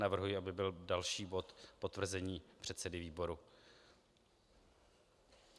Navrhuji, aby byl další bod - potvrzení předsedy výboru.